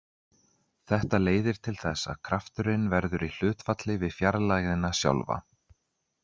Þetta leiðir til þess að krafturinn verður í hlutfalli við fjarlægðina sjálfa.